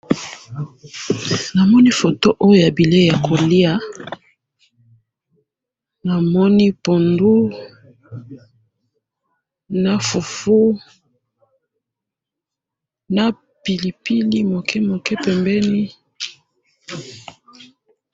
namoni foto oyo ya bileyi ya koliya namoni punduna fufu n piilipili muke muke pembeni